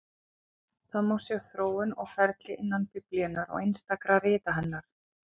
Það má sjá þróun og ferli innan Biblíunnar og einstakra rita hennar.